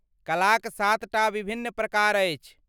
कलाक सातटा विभिन्न प्रकार अछि।